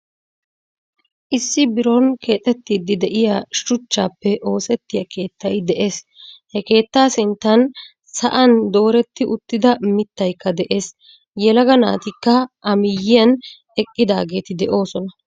Issi biron keexettiidi de'iyaa shuchchaappe osettiyaa keettay de'ees. He keettaa sinttan sa'an doretti uttida mittaykka de'ees. Yelaga naatikka a miyiyaan eqqidaageti de'oosona.